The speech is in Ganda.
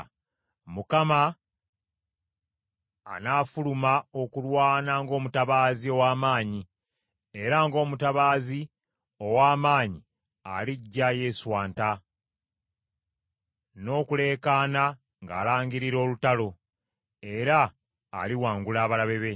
Mukama , anafuluma okulwana ng’omutabaazi ow’amaanyi, era ng’omutabaazi ow’amaanyi alijja yeeswanta, n’okuleekaana ng’alangirira olutalo. Era aliwangula abalabe be.